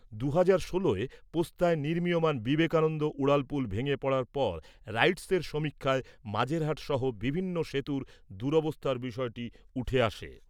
দুহাজার ষোলোয় পোস্তায় নির্মীয়মাণ বিবেকানন্দ উড়ালপুল ভেঙে পড়ার পর রাইটসের সমীক্ষায় মাঝেরহাট সহ বিভিন্ন সেতুর দুরবস্থার বিষয়টি উঠে আসে।